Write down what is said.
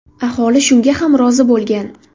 Aholi shunga ham rozi bo‘lgan.